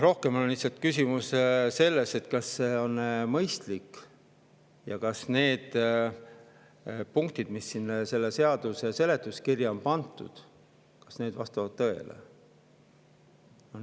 Küsimus on rohkem selles, kas see on mõistlik ja kas need punktid, mis selle seaduse seletuskirja on pandud, vastavad tõele.